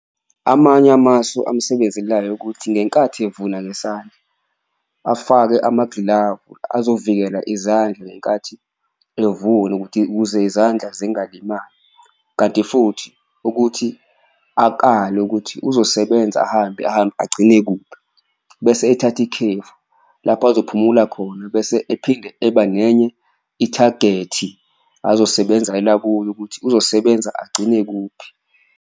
Amanye amasu amsebenzelayo ukuthi ngenkathi evuna ngesandla afake amagilavu azovikela izandla ngenkathi evuna ukuthi, ukuze izandla zingalimali kanti futhi akale ukuthi uzosebenza ahambe ahambe agcine kuphi. Bese ethatha ikhefu lapho azophumula khona, bese ephinde eba nenye ithagethi azosebenzela kuyo ukuthi uzosebenza agcine kuphi.